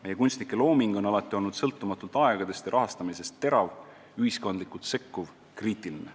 Meie kunstnike looming on alati olnud sõltumatult aegadest ja rahastamisest terav, ühiskondlikult sekkuv, kriitiline.